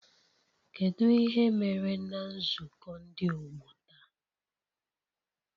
Kedu ihe mere na nzukọ ndị ọgbọ taa?